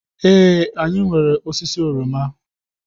Ee, anyị nwere osisi oroma.